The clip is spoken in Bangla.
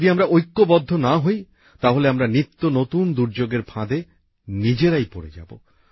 যদি আমরা ঐক্যবদ্ধ না হই তাহলে আমরা নিত্য নতুন দুর্যোগের ফাঁদে নিজেরাই পড়ে যাবো